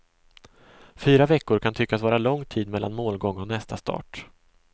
Fyra veckor kan tyckas vara lång tid mellan målgång och nästa start.